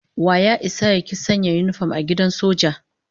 Wa ya isa ya ki sanya yinifom a gidan soja?